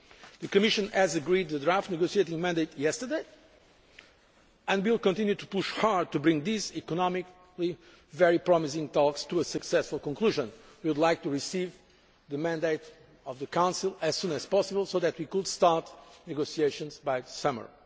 The Commission agreed the draft negotiating mandate yesterday, and we will continue to push hard to bring these economically very promising talks to a successful conclusion. We would like to receive the mandate of the Council as soon as possible so that we could start negotiations by the summer.